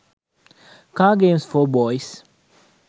car games for boys